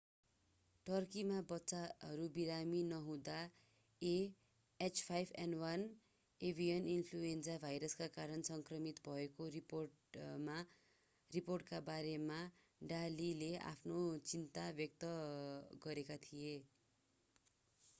टर्कीमा बच्चाहरू बिरामी नहुँदा a h5n1 एभिएन इन्फ्लूएन्जा भाइरसका कारण सङ्क्रमित भएको रिपोर्टका बारेमा डा लीले आफ्नो चिन्ता व्यक्त गरेका थिए।